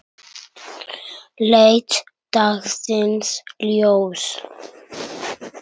leit dagsins ljós.